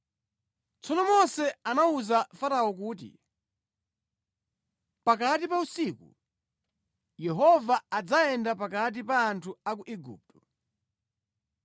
Tsono Mose anawuza Farao kuti, “Pakati pa usiku, Yehova adzayenda pakati pa anthu a ku Igupto.